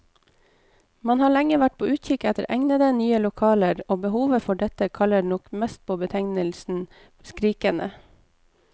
Man har lenge vært på utkikk etter egnede, nye lokaler, og behovet for dette kaller nok mest på betegnelsen skrikende.